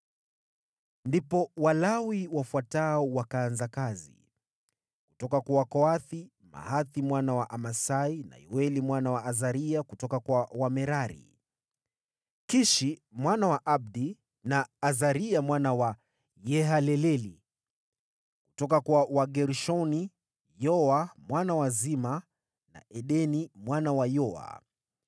Ndipo Walawi wafuatao wakaanza kazi: Kutoka kwa Wakohathi, Mahathi mwana wa Amasai na Yoeli mwana wa Azaria; kutoka kwa Wamerari, Kishi mwana wa Abdi na Azaria mwana wa Yahaleleli; kutoka kwa Wagershoni, Yoa mwana wa Zima na Edeni mwana wa Yoa;